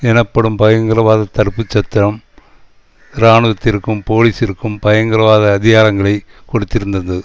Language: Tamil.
எனப்படும் பயங்கரவாதத் தடுப்பு சட்டம் இராணுவத்திற்கும் போலீசிற்கும் பயங்கரவாத அதிகாரங்களை கொடுத்திருந்தது